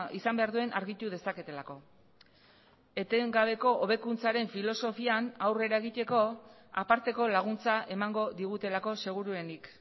izan behar duen argitu dezaketelako etengabeko hobekuntzaren filosofian aurrera egiteko aparteko laguntza emango digutelako seguruenik